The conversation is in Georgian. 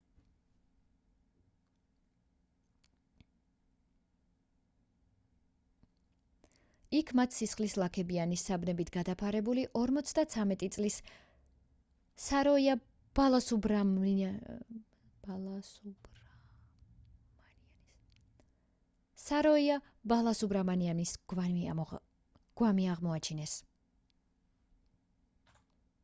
იქ მათ სისხლის ლაქებიანი საბნებით გადაფარებული 53 წლის საროია ბალასუბრამანიანის გვამი აღმოაჩინეს